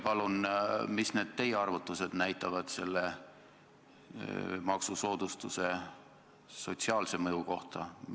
Mida teie arvutused näitavad selle maksusoodustuse sotsiaalse mõju kohta?